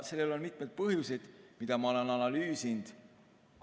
Sellel on mitmeid põhjuseid, mida ma olen analüüsinud.